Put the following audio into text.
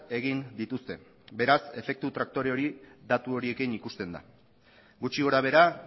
egin dituzte beraz efektu traktore hori datu horiekin ikusten da gutxi gorabehera